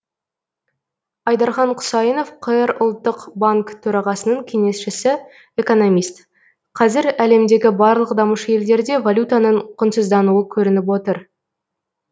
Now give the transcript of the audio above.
айдархан құсайынов қр ұлттық банк төрағасының кеңесшісі экономист қазір әлемдегі барлық дамушы елдерде валютаның құнсыздануы көрініп отыр